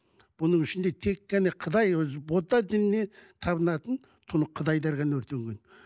бұның ішінде тек қана қытай өзі будда дініне табынатын қытайлар ғана өртеген